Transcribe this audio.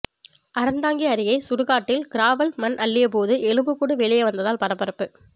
அறந்தாங்கி அருகே சுடுகாட்டில் கிராவல் மண் அள்ளியபோது எலும்புக்கூடு வெளியே வந்ததால் பரபரப்பு